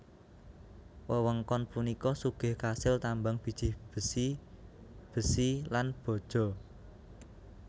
Wewengkon punika sugih kasil tambang bijih besi besi lan baja